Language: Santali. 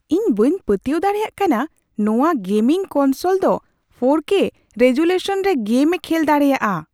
ᱤᱧ ᱵᱟᱹᱧ ᱯᱟᱹᱛᱭᱟᱹᱣ ᱫᱟᱲᱮᱭᱟᱜ ᱠᱟᱱᱟ ᱱᱚᱶᱟ ᱜᱮᱢᱤᱝ ᱠᱚᱱᱥᱳᱞ ᱫᱚ ᱔ᱠᱮ ᱨᱮᱡᱳᱞᱤᱭᱩᱥᱚᱱ ᱨᱮ ᱜᱮᱢ ᱮ ᱠᱷᱮᱞ ᱫᱟᱲᱮᱭᱟᱜᱼᱟ ᱾